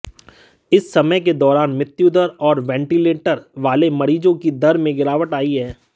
इस समय के दौरान मृत्युदर और वैटीलेंटर वाले मरीज़ों की दर में गिरावट आई है